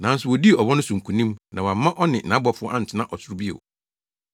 Nanso wodii ɔwɔ no so nkonim na wɔamma ɔne nʼabɔfo antena ɔsoro bio.